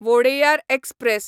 Wodeyar express